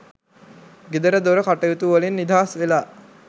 ගෙදර දොර කටයුතු වලින් නිදහස් වෙලා